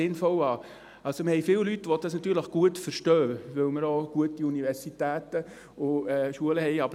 Wir haben viele Leute, die das natürlich gut verstehen, weil wir auch gute Universitäten und Schulen haben.